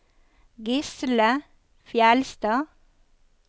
Gisle Fjeldstad